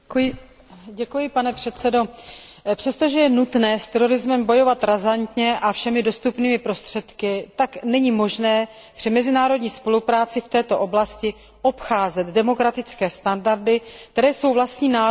Přestože je nutné s terorizmem bojovat razantně a všemi dostupnými prostředky, tak není možné při mezinárodní spolupráci v této oblasti obcházet demokratické standardy, které jsou vlastní národům v transatlantickém prostoru.